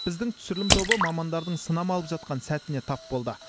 біздің түсірілім тобы мамандардың сынама алып жатқан сәтіне тап болды